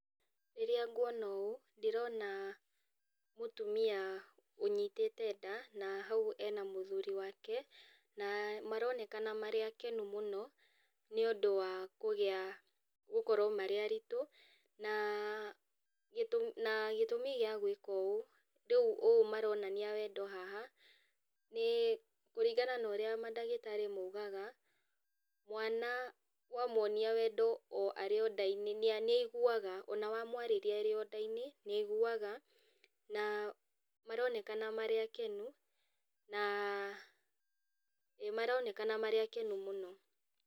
Rĩrĩa nguona ũũ, ndĩrona mũtumia ũnyitĩte nda, na hau ena mũthuri wake, na maronekana marĩ akenu mũno, nĩũndũ wa kũgĩa gũkorwo marĩ aritũ, na gĩtũmi na gĩtũmĩ gĩa gwaka ũũ, rĩũ ũũ maronania wendo haha, nĩ kũringana na ũrĩa mandagĩtarĩ maugaga, mwana wamwonia wendo o arĩ o ndainĩ, nĩ nĩaiguaga, ona wamwarĩria arĩ o nda inĩ nĩaiguaga, na maronekana marĩ akenu, na nĩmaronekana marĩ akenu mũno.